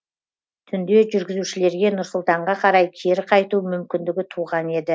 түнде жүргізушілерге нұр сұлтанға қарай кері қайту мүмкіндігі туған еді